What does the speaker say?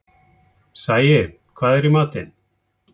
Sæi, hvað er í matinn?